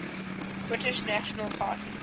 british national party